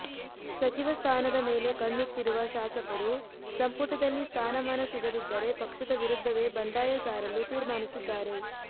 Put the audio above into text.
ಸಚಿವ ಸ್ಥಾನದ ಮೇಲೆ ಕಣ್ಣಿಟ್ಟಿರುವ ಶಾಸಕರು ಸಂಪುಟದಲ್ಲಿ ಸ್ಥಾನಮಾನ ಸಿಗದಿದ್ದರೆ ಪಕ್ಷದ ವಿರುದ್ಧವೇ ಬಂಡಾಯ ಸಾರಲು ತೀರ್ಮಾನಿಸಿದ್ದಾರೆ